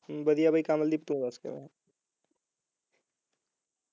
ਵਧੀਆ ਭਾਈ ਕਮਲਦੀਪ ਤੋਂ ਦੱਸ ਕਿਵੇਂ ਹੈ